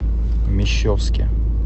мещовске